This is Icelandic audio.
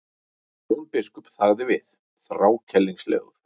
Jón biskup þagði við, þrákelknislegur.